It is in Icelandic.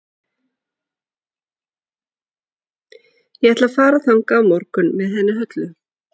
Ég ætla að fara þangað á morgun með henni Höllu.